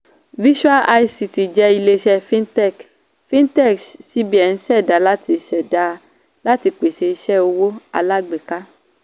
visual ict jẹ́ ilé-iṣẹ́ fintech fintech cbn ṣẹda láti ṣẹda láti pèsè iṣẹ́ owó alágbèéká.